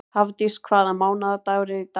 Hafdís, hvaða mánaðardagur er í dag?